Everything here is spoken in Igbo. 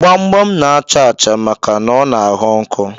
Gbamgbam na-achà achà maka ọ na-aghọ nkọ.